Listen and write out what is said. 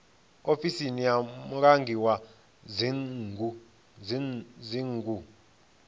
ofisi ya mulangi wa dzingu